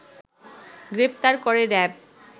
গ্রেফতার করে র‌্যাব